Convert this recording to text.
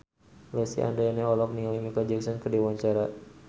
Lesti Andryani olohok ningali Micheal Jackson keur diwawancara